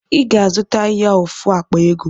I ga-azụta ya ofu akpa ego